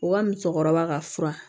U ka musokɔrɔba ka fura